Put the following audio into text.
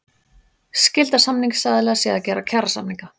Skylda samningsaðila sé að gera kjarasamninga